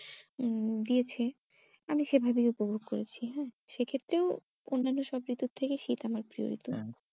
উম দিয়েছে আমি সেভাবেই উপভোগ করেছি হ্যাঁ সেক্ষেত্রেও অন্যান্য সব ঋতুর থেকে শীত আমার প্রিয় ঋতু হ্যাঁ